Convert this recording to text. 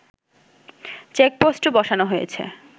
চেকপোস্টও বসানো হয়েছে